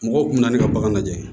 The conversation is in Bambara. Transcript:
Mɔgɔw kun bɛ na ne ka bagan lajɛ